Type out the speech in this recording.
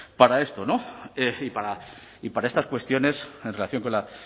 para esto y para estas cuestiones en relación con la